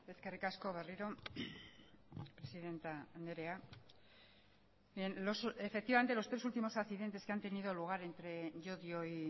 eskerrik asko berriro presidente andrea bien efectivamente los tres últimos accidentes que han tenido lugar entre llodio y